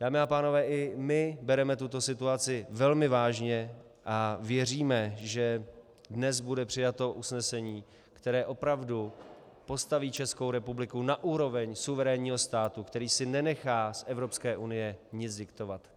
Dámy a pánové, i my bereme tuto situaci velmi vážně a věříme, že dnes bude přijato usnesení, které opravdu postaví Českou republiku na úroveň suverénního státu, který si nenechá z Evropské unie nic diktovat.